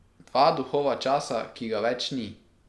Dva duhova časa, ki ga več ni.